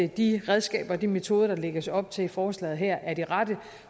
de redskaber og de metoder der lægges op til i forslaget her er de rette